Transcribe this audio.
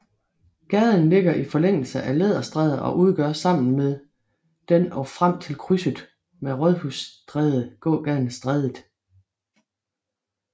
Gaden ligger i forlængelse af Læderstræde og udgør sammen med den og frem til krydset med Rådhusstræde gågaden Strædet